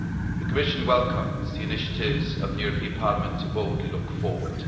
The Commission welcomes the initiatives of the European Parliament to boldly look forward.